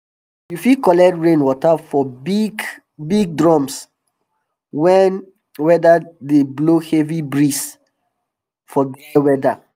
you fit collect rain water for big big drums wen weda dey blow heavy breeze for dry weda